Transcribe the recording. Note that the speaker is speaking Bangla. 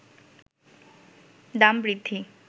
দাম বৃদ্ধি